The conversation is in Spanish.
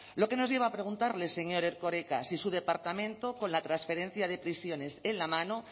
lo que nos lleva a preguntarle señor erkoreka si su departamento con la transferencia de prisiones en la mano